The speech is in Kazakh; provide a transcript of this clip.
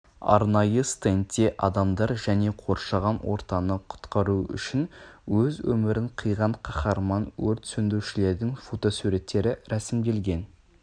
арнайы стендте адамдар және қоршаған ортаны құтқару үшін өз өмірін қиған қаһарман өрт сөндірушілердің фотосуреттері ресімделген